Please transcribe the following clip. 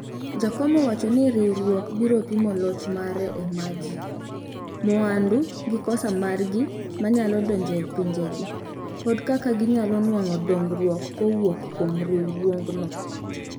jakom owacho ni riwrwuok biro pimo loch mare e ma ji. mwandu gi kosa margi manyalo donjo e pinjegi. kod kaka ginyalo nuango dongruok kowuok kuom riwruogno